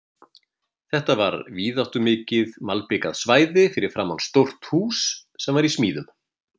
Þetta var víðáttumikið malbikað svæði fyrir framan stórt hús sem var í smíðum.